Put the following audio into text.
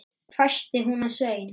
hvæsti hún á Svein